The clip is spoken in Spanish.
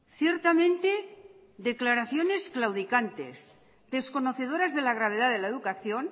ciertamente declaraciones claudicantes desconocedoras de la gravedad de la educación